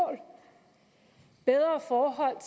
bedre forhold